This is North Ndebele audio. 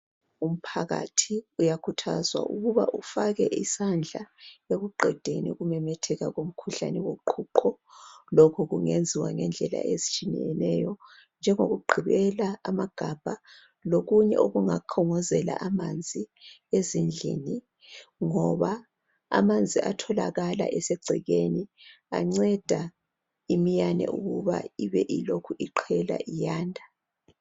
Umphakathi uyakhuthazwa ukuba ufake isandla ekuqedeni ukumemetheka komkhuhlane woqhuqho lokhu kungenziwa ngendlela ezitshiyeneyo njengoku gqibela amagabha lokunye okungakhongozela amanzi ezindlini ngoba amanzi atholakala esegcekeni anceda iminyane ukuba ibe ilokhu iqhela iyanda.